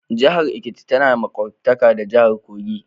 Jahar Ekiti ta na maƙwaftaka da jahar Kogi.